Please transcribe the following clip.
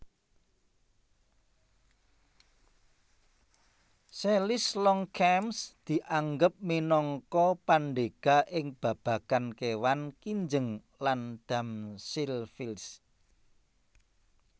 Selys Longchamps dianggep minangka pandhéga ing babagan kéwan kinjeng land damselflies